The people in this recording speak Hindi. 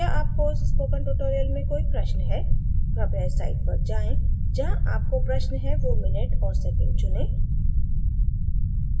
क्या आपको इस spoken tutorial में कोई प्रश्न है कृपया इस site पर जाएँ जहाँ आपको प्रश्न है do minute और second चुनें